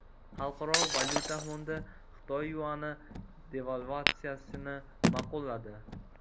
Xalqaro valyuta fondi Xitoy yuani devalvatsiyasini ma’qulladi.